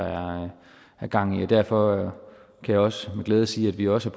er gang i er fornuftigt derfor kan jeg også med glæde sige at vi også